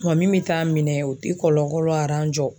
min me taa'a minɛ o te kɔlɔlɔ jɔ.